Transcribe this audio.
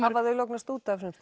hafa þau lognast út af